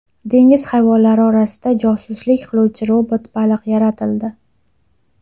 Dengiz hayvonlari orasida josuslik qiluvchi robot baliq yaratildi .